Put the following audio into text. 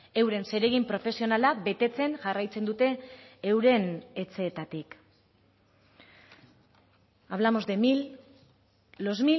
euren zeregin profesionala betetzen jarraitzen dute euren etxeetatik hablamos de mil los